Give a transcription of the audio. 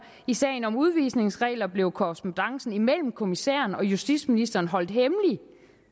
i sagen om udvisningsregler blev korrespondancen mellem kommissæren og justitsministeren holdt hemmelig